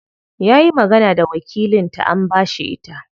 Yayi magana da wakilin ta an bashi ita.